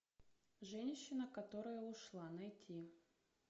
женщина которая ушла найти